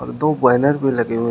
दो बैनर भी लगे हुए--